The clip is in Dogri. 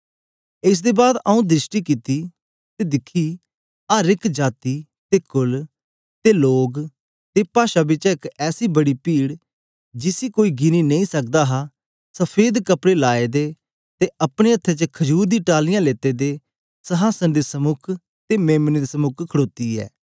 एस दे बाद आऊँ दृष्टि कित्ती ते दिखीं अर एक जाती ते कुल ते लोग ते पाषा बिचा एक ऐसी बड़ी पीड जिसी कोई गिनी नेई सकदा हा सफेद कपड़े लाए दे ते अपने हत्थें च खजूर दी टालियां लेते दे संहासन दे समुक ते मेम्ने दे समुक खड़ोती ऐ